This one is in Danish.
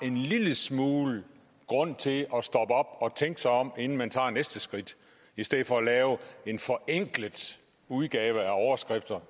en lille smule grund til at stoppe op og tænke sig om inden man tager næste skridt i stedet for at lave en forenklet udgave af overskrifter